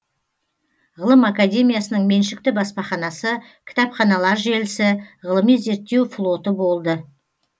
ғылым академиясының меншікті баспаханасы кітапханалар желісі ғылыми зерттеу флоты болды